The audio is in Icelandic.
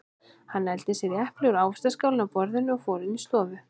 Hann nældi sér í epli úr ávaxtaskálinni á borðinu og fór inn í stofu.